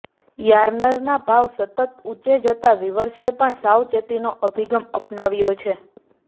યાર્નના ભાવ સતત ઊંચે જતા વિવર્સે પણ સાવચેતીનો અભિગમ અપનાવ્યો છે